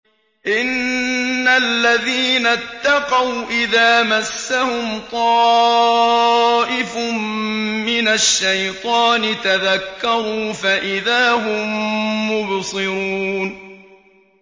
إِنَّ الَّذِينَ اتَّقَوْا إِذَا مَسَّهُمْ طَائِفٌ مِّنَ الشَّيْطَانِ تَذَكَّرُوا فَإِذَا هُم مُّبْصِرُونَ